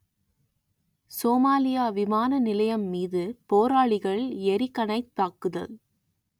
Somalia விமான நிலையம் மீது போராளிகள் எறிகணைத் தாக்குதல்